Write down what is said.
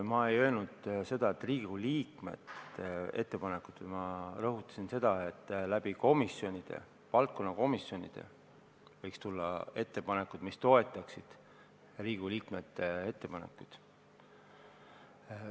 Ma ei öelnud, et ei tulnud Riigikogu liikmete ettepanekuid, vaid ma rõhutasin, et valdkonnakomisjonidest võiks tulla ettepanekuid, mis toetaksid Riigikogu liikmete ettepanekuid.